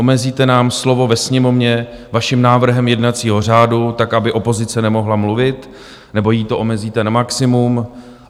Omezíte nám slovo ve Sněmovně vaším návrhem jednacího řádu tak, aby opozice nemohla mluvit, nebo jí to omezíte na maximum.